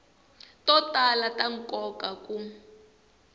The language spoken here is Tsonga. to tala ta nkoka ku